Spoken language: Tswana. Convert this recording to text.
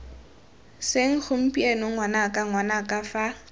seng gompieno ngwanaka ngwanaka fa